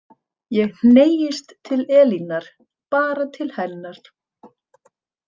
Ég hneigist til Elínar, bara til hennar.